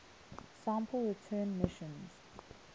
sample return missions